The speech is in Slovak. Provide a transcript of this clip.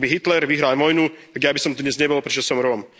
Ak by Hitler vyhral vojnu, tak ja by som tu dnes nebol, pretože som Róm.